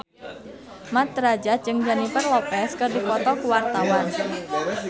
Mat Drajat jeung Jennifer Lopez keur dipoto ku wartawan